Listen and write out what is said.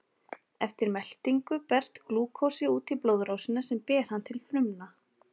Eftir meltingu berst glúkósi út í blóðrásina sem ber hann til frumna.